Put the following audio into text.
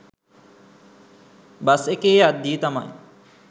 bus එකේ යද්දී තමයි